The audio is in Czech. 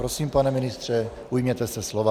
Prosím, pane ministře, ujměte se slova.